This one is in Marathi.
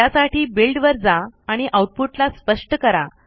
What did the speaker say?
त्यासाठी बिल्ड वर जा आणि आउटपुट ला स्पष्ट करा